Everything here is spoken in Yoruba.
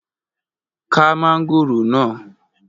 Ka mángòrò náà!